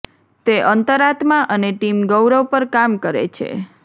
તે અંતરાત્મા અને ટીમ ગૌરવ પર કામ કરે છે